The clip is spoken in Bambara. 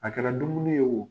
A kɛra dumuni ye o